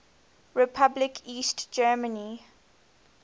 republic east germany